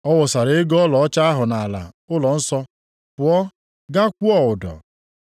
Ọ wụsara ego ọlaọcha ahụ nʼala ụlọnsọ, pụọ gaa kwụọ ụdọ.